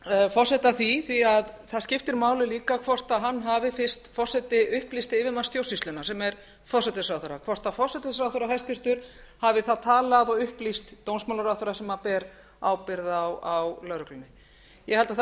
forseta að því því að það skiptir máli líka hvort hún hafi fyrst forseti upplýsti yfirmann stjórnsýslunnar sem er forsætisráðherra hvort hæstvirtur forsætisráðherra hafi þá talað við og upplýst dómsmálaráðherra sem ber ábyrgð á lögreglunni ég held að það